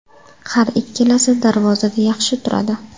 Har ikkalasi darvozada yaxshi turadi.